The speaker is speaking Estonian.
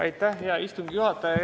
Aitäh, hea istungi juhataja!